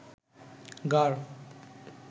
গাড়